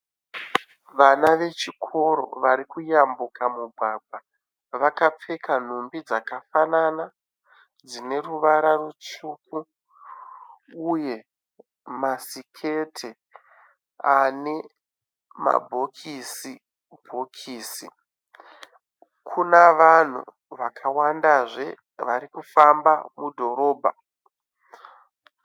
Vana vechikoro vari kuyambuka mugwagwa vakapfeka nhumbi dzakafanana dzine ruvara rutsvuku uye masiketi ane mabhokisi bhokisi, kune vanhu vakawandazve varikufamba mudhorobha